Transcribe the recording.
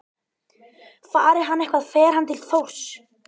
Fari hann eitthvað fer hann til Þórs.